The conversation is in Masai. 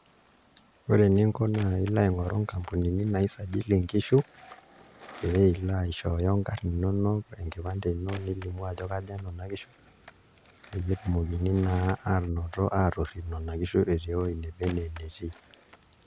Ore eninko naa ilo aing'oru nkampunini naisajili nkishu pee ilo aishooyo nkarn inonok, enkipande ino nilimu ajo kaja nena kishu peyie etumokini naa aanoto aatorrip nena kishu etii ewuei neba enaa enetii.